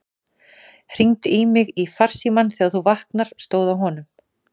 Hringdu í mig í farsímann þegar þú vaknar, stóð á honum.